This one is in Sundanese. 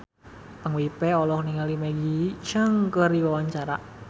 Ipank BIP olohok ningali Maggie Cheung keur diwawancara